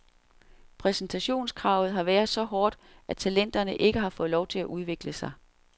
Præstationskravet har været så hårdt, at talenterne ikke har fået lov til at udvikle sig.